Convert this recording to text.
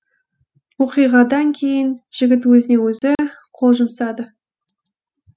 оқиғадан кейін жігіт өзіне өзі қол жұмсады